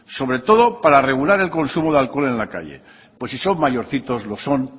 sobre todo para regular el consumo de alcohol en la calle pues si son mayorcitos lo son